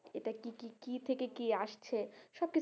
এটা কি কি কি থেকে কি আসছে,